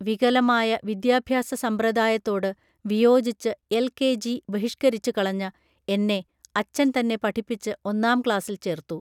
വികലമായ വിദ്യാഭ്യാസ സമ്പ്രദായത്തോട് വിയോജിച്ച് എൽ കെ ജി ബഹിഷ്കരിച്ചു കളഞ്ഞ എന്നെ അച്ഛൻ തന്നെ പഠിപ്പിച്ച് ഒന്നാം ക്ലാസ്സിൽ ചേർത്തു